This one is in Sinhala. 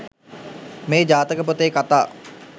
මේ ජාතක පොතේ කථා